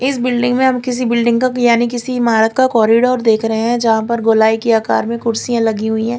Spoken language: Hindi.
इस बिल्डिंग में हम किसी बिल्डिंग का यानी किसी इमारत का कॉरिडोर देख रहे हैं यहां पर गोलाई की आकार में कुर्सियां लगी हुई हैं।